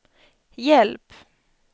hjälp